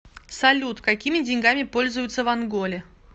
салют какими деньгами пользуются в анголе